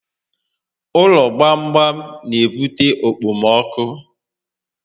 Ụlọ gbam gbam n'ebute okpomọkụ